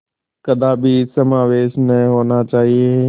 कदापि समावेश न होना चाहिए